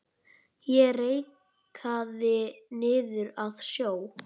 Ég reikaði niður að sjó.